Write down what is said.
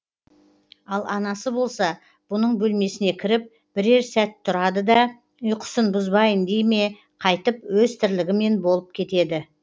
ал анасы болса бұның бөлмесіне кіріп бірер сәт тұрады да ұйқысын бұзбайын дей ме қайтып өз тірлігімен болып кетеді